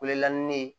Welela ni ne ye